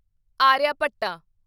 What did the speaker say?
Aryabhatta